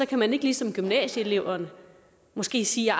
kan man ikke ligesom gymnasieeleverne måske sige